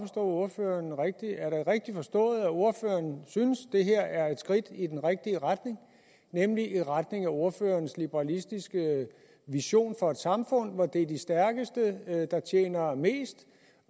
ordføreren rigtigt er det rigtigt forstået at ordføreren synes det her er et skridt i den rigtige retning nemlig i retning af ordførerens liberalistiske vision for et samfund hvor det er de stærkeste der tjener mest